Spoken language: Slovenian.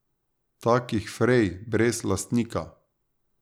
Takih frej, brez lastnika.